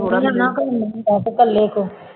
ਥੋੜ੍ਹਾ ਕਰਨਾ ਪਊ, ਵੈਸੇ ਇਕੱਲੇ ਤੋਂ